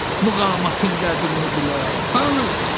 Muğamatın qədrini bilən, hanı?